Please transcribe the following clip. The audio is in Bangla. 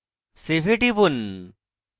save এ টিপুন